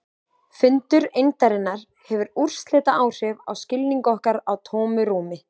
Fundur eindarinnar hefur úrslitaáhrif á skilning okkar á tómu rúmi.